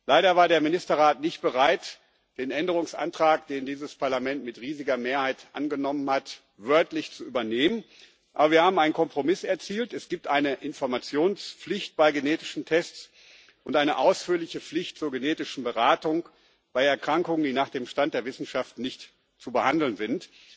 Leider war der Ministerrat nicht bereit, den Änderungsantrag, den dieses Parlament mit riesiger Mehrheit angenommen hat, wörtlich zu übernehmen, aber wir haben einen Kompromiss erzielt Es gibt eine Informationspflicht bei genetischen Tests und eine ausführliche Pflicht zur genetischen Beratung bei Erkrankungen, die nach dem Stand der Wissenschaft nicht zu behandeln sind.